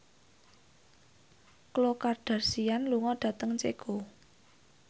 Khloe Kardashian lunga dhateng Ceko